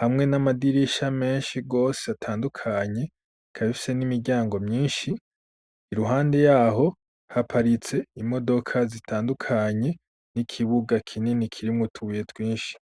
hamwe n'amadirisha menshi rose atandukanye Ikabifise n'imiryango myinshi, i ruhande yaho haparitse imodoka zitandukanye, n'ikibuga kinini kirimwo tubuye twinshi.